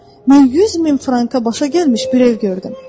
"Mən 100 min franka başa gəlmiş bir ev gördüm."